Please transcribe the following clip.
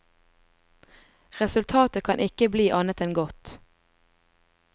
Resultatet kan ikke bli annet enn godt.